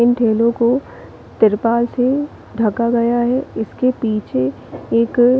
इन ठेलो को त्रिपाल से ढका गया है इसके पीछे एक--